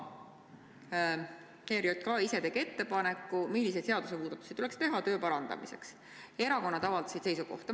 ERJK ise tegi ettepaneku, milliseid seadusmuudatusi tuleks teha töö parandamiseks, ja erakonnad avaldasid seisukohta.